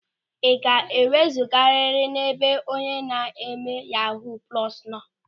Ị ga-ewezugarịrị n'ebe onye na-eme yahuu plọsu nọ!